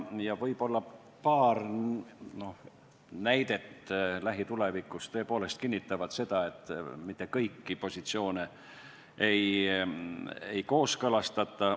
Võib-olla paar näidet lähitulevikust tõepoolest kinnitavad seda, et mitte kõiki positsioone ei kooskõlastata.